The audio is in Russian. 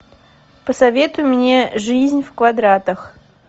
посоветуй мне жизнь в квадратах